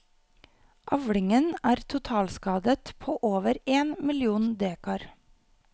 Avlingen er totalskadet på over én million dekar.